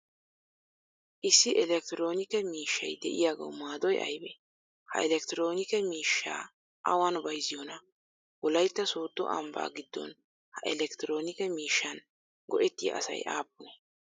Issi elleekittironikke miishshay de'iyaagawu maadoy aybee? Ha elleekittironikke miishshaa awan bayziyonaa? Wolaytta soddo ambba giddon ha elleekittironikke miishshan go'etiyaa asay appunee?